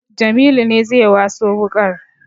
Jamilu ne zai waso wuƙar